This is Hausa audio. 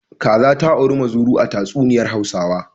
Kaza ta auri muzuru a tatsuniyar Hausawa.